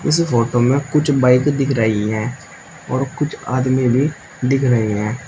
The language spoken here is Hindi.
इस फोटो में कुछ बाइक दिख रही हैं और कुछ आदमी भी दिख रहे हैं।